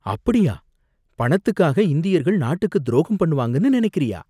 அப்படியா? பணத்துக்காக இந்தியர்கள் நாட்டுக்கு துரோகம் பண்ணுவாங்கன்னு நினைக்குறியா?